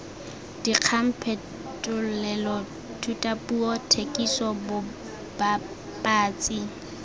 dikgang phetolelo thutapuo thekiso bobapatsi